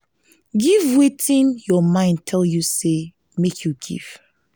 give wetin your mind tell you say make you give